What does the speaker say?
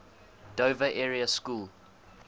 dover area school